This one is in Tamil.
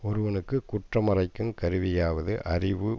ஒருவனுக்கு குற்றமறைக்குங் கருவியாவது அறிவு